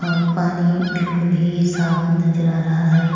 और पानी बिलकुल ही साफ नजर आ रहा है।